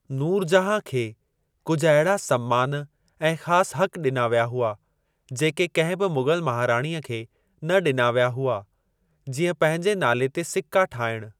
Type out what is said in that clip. नूरजहां खे कुझ अहिड़ा सम्मान ऐं ख़ास हक़ ॾिना विया हुआ, जेके कंहिं बि मुग़ल महाराणीअ खे न ॾिना विया हुआ, जीअं पंहिंजे नाले ते सिक्का ठाहिणु।